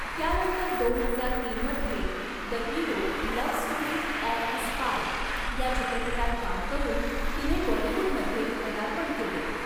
त्यानंतर दोन हजार तीन मधे 'the hero love story of a spy' या चित्रपटात काम करून तिने बॉलिवुडमध्ये पदार्पण केले.